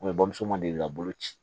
bamuso ma deli ka bolo ci